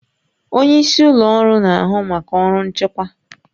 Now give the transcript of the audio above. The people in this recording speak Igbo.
Onye isi ụlọ ọrụ na-ahụ maka ọrụ nchịkwa